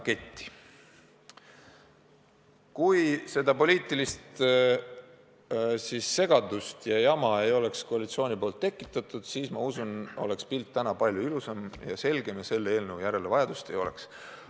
Kui koalitsioon poleks seda poliitilist segadust ja jama tekitanud, siis usutavasti oleks pilt täna palju ilusam ja selgem ja selle eelnõu järele vajadust ei oleks.